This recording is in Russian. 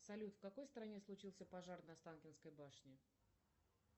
салют в какой стране случился пожар на останкинской башне